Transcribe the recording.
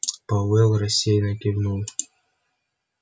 пауэлл рассеянно кивнул